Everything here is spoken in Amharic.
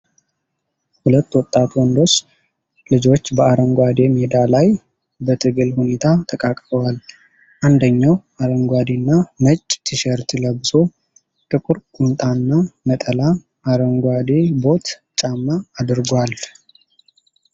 ሁለት ወጣት ወንዶች ልጆች በአረንጓዴ ሜዳ ላይ በትግል ሁኔታ ተቃቅፈዋል። አንደኛው አረንጓዴና ነጭ ቲሸርት ለብሶ ጥቁር ቁምጣና ነጠላ አረንጓዴ ቦት ጫማ አድርጓል።